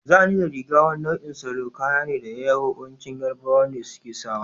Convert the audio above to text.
Zani da riga wani nau'in salo kaya ne da yawanci yarobawa ne suke sawa.